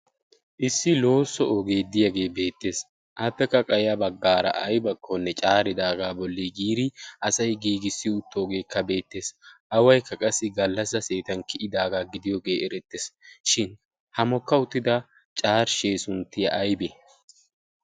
issi loosso oogee diyaagee beettees. attekka qaya baggaara aibakkoonne caaridaagaa bolli giiri asai giigissi uttoogeekka beettees. awaikka qassi gallassa seetan kiyidaagaa gidiyoogee erettees. shin ha mokka uttida caarshee sunttiya aibee?